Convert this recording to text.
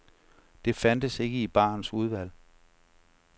Det fandtes ikke i barens udvalg.